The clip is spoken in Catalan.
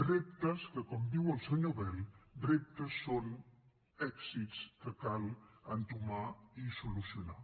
reptes que com diu el senyor bel reptes són èxits que cal entomar i solucionar